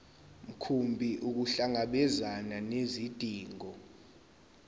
mkhumbi ukuhlangabezana nezidingo